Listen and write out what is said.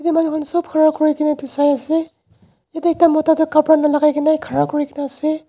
yate manu khan sop khara kurikaena Sai ase yatae ekta mota tu khapra nalaikaena khara kurina ase.